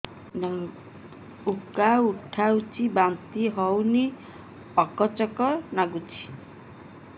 ଉକା ଉଠୁଚି ବାନ୍ତି ହଉନି ଆକାଚାକା ନାଗୁଚି